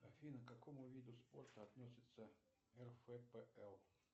афина к какому виду спорта относится рфпл